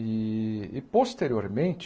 E posteriormente,